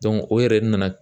o yɛrɛ de nana